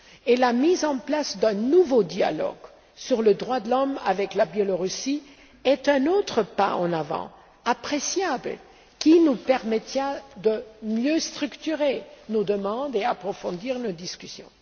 Et la mise en place d'un nouveau dialogue sur les droits de l'homme avec le Belarus est un autre pas en avant, appréciable, qui nous permettra de mieux structurer nos demandes et approfondir nos discussions.